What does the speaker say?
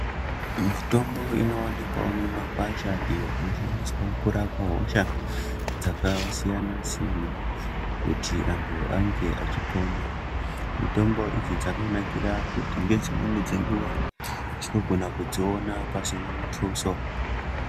Mitombo inoonekwawo mumakwasha iyo inoshandiswe kurape hosha dzakasiyana siyana, kuti antu ange achipona. Mitombo idzi dzakanakire kuti ngedzimweni dzenguwa tinogona kudziona pasina muthuso.